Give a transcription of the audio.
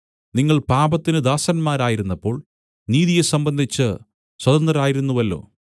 നിങ്ങൾ പാപത്തിന് ദാസന്മാരായിരുന്നപ്പോൾ നീതിയെ സംബന്ധിച്ച് സ്വതന്ത്രരായിരുന്നുവല്ലോ